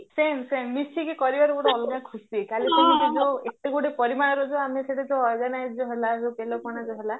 same same ମିସିକି କରିବାର ଗୋଟେ ଅଲଗା ଖୁସି କାଲି ସେମିତି ଯୋଉ ଏତେ ଗୋଟେ ପରିମାଣର ଯୋଉ ଆମେ ହେଲା ବେଲ ପଣା ଯୋଉ ହେଲା